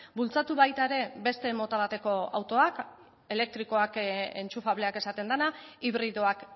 bultzatu baita ere beste mota bateko autoak elektrikoak entxufableak esaten dena hibridoak